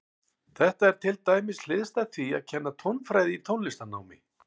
Þetta er til dæmis hliðstætt því að kenna tónfræði í tónlistarnámi.